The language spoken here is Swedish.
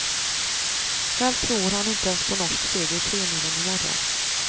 Själv tror han inte ens på norsk seger i tremilen i morgon.